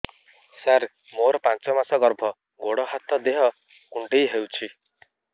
ସାର ମୋର ପାଞ୍ଚ ମାସ ଗର୍ଭ ଗୋଡ ହାତ ଦେହ କୁଣ୍ଡେଇ ହେଉଛି